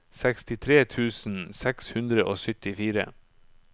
sekstitre tusen seks hundre og syttifire